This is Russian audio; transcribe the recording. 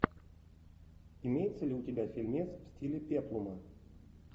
имеется ли у тебя фильмец в стиле пеплума